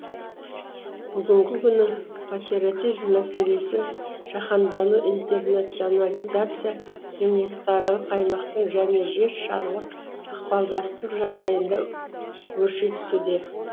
бүгінгі күні патриотизм мәселесі жаһандану интернационализация мемлекетаралық аймақтық және жер шарылық ықпалдастық жағдайында өрши түсуде